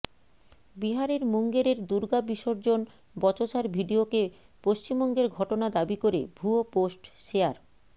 বিহারের মুঙ্গেরের দুর্গা বিসর্জন বচসার ভিডিওকে পশ্চিমবঙ্গের ঘটনা দাবি করে ভুয়ো পোস্ট শেয়ার